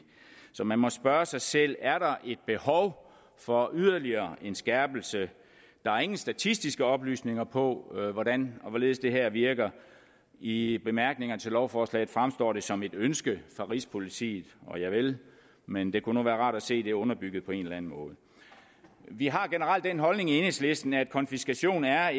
så man må spørge sig selv er der et behov for yderligere en skærpelse der er ingen statistiske oplysninger på hvordan og hvorledes det her virker i i bemærkningerne til lovforslaget fremstår det som et ønske fra rigspolitiet men det kunne nu være rart at se det underbygget på en eller anden måde vi har generelt den holdning i enhedslisten at konfiskation er